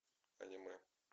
аниме